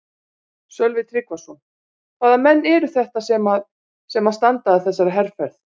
Sölvi Tryggvason: Hvaða menn eru þetta sem að, sem að standa að þessari herferð?